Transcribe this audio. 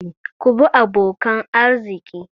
Ku bi abokan arziki!